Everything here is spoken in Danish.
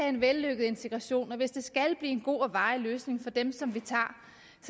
en vellykket integration og hvis det skal en god og varig løsning for dem som vi tager